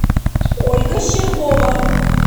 ольга щербова